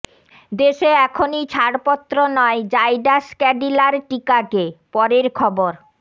দেশে এখনই ছাড়পত্র নয় জাইডাস ক্যাডিলার টিকাকে পরের খবর